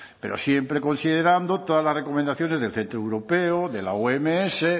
pero siempre considerando todas las recomendaciones del centro europeo de la oms de